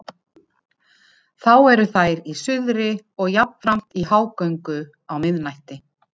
Þá eru þær í suðri og jafnframt í hágöngu á miðnætti.